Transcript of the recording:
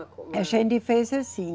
A gente fez assim.